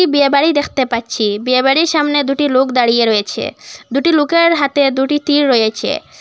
বিয়ে বাড়ি দেখতে পাচ্ছি বিয়ে বাড়ির সামনে দুটি লোক দাঁড়িয়ে রয়েছে দুটি লোকের হাতে দুটি তীর রয়েছে।